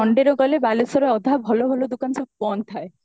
sunday ରେ ଗଲେ ବାଲେଶ୍ଵର ର ଅଧା ଭଲ ଦୋକାନ ସବୁ ବନ୍ଦ ଥାଏ